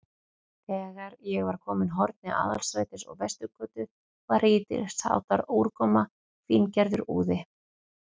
Þegar ég var kominn að horni Aðalstrætis og Vesturgötu, var lítilsháttar úrkoma, fíngerður úði.